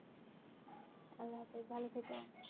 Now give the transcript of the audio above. খুব ভালো থেকো.